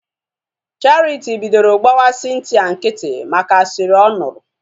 Charity bidoro gbawa Cynthia nkịtị maka asịrị ọ nụrụ